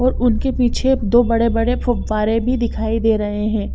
और उनके पीछे दो बड़े बड़े फव्वारे भी दिखाई दे रहे है ।